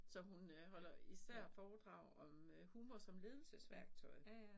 Så hun øh holder især foredrag om øh humor som ledelsesværktøj